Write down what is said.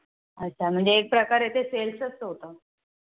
अच्छा म्हणजे एक प्रकारे ते Sales च होत